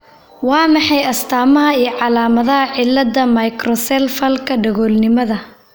Waa maxay astaamaha iyo calaamadaha cillada Microcephalka dagolnimada?